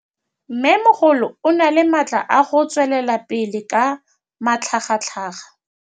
Mmêmogolo o na le matla a go tswelela pele ka matlhagatlhaga.